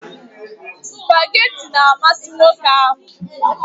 Nwoke ahụ na-amasị spugeetí